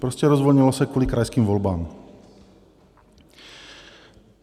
Prostě rozvolnilo se kvůli krajským volbám.